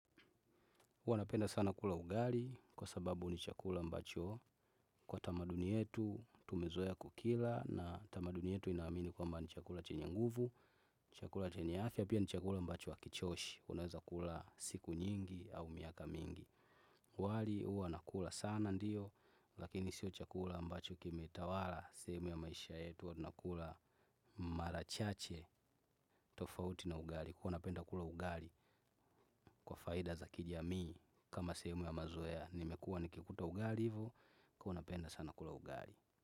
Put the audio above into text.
Huanapenda sana kula ugari kwa sababu ni chakula mbacho kwa tamaduni yetu tumezoea kukila na tamaduni yetu inaamini kwamba ni chakula chenye nguvu, chakula chenye afya, pia ni chakula mbacho akichoshi, unaweza kula siku nyingi au miaka mingi. Wali uwa nakula sana ndiyo lakini siyo chakula ambacho kimetawala sehemu ya maisha yetu huwa nakula marachache tofauti na ugari kuwa napenda kula ugari kwa faida za kijamii kama sehemu ya mazoea nimekua nikikuta ugali hivo kuwa napenda sana kula ugali.